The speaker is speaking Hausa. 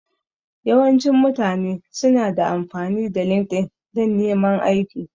Yawancin mutane su na amfani da LinkedIn dan neman aiki